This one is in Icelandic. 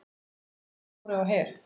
Jesús minn, Dóri á Her!